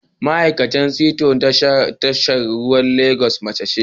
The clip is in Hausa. Ma'aikacin sito na tashar ruwan Legas mace ce